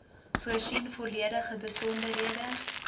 voorsien volledige besonderhede